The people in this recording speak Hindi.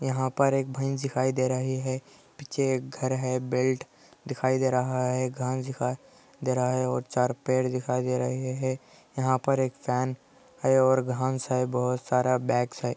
यहाँ पर भैस देखै दे रहा है | पीछे एक घर है बेल्ट दिखाई दे रहा हे गज का दे रहा हे और चार पेड़ दिखाई हेयह पर एक फैन हे बहुत सारा बैग्स हे